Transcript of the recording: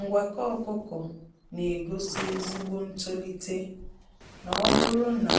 Ngwakọ ọkụkọ na egosi ezigbo ntolite n'oburu na